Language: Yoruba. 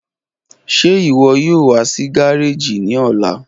Ṣe iwọ yoo wa si gareji ni ọla?